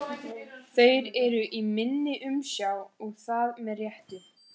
Þeir eru í minni umsjá og það með réttu.